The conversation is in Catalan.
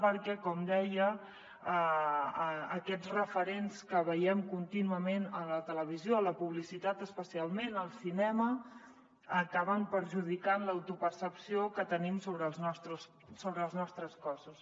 perquè com deia aquests referents que veiem contínuament a la televisió a la publicitat especialment al cinema acaben perjudicant l’autopercepció que tenim sobre els nostres cossos